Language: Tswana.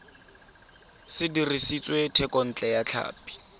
se dirisitswe thekontle ya tlhapi